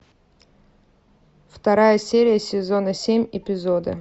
вторая серия сезона семь эпизоды